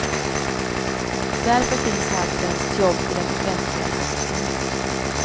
Därför finns här främst jobb i den offentliga sektorn.